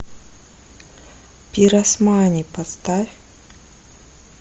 пиросмани поставь